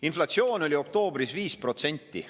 Inflatsioon oli oktoobris 5%.